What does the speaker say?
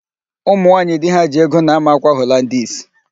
Ụmụnwaaanyị di ha ji ego na-ámà ákwà Holandis.